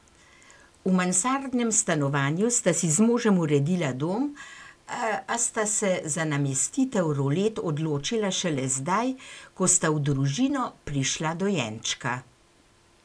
V mansardnem stanovanju sta si z možem uredila dom, a sta se za namestitev rolet odločila šele zdaj, ko sta v družino prišla dojenčka.